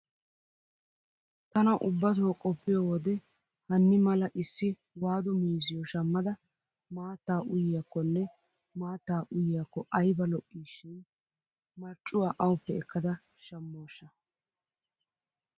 Tana ubbatoo qoppiyo wode hanni mala issi waadu miizziyo shammada maattaa uyiyakkonne maattaa uyiyakko ayba lo'iishin marccuwa awuppe ekkada shammooshsha!